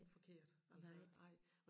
Forkert altså nej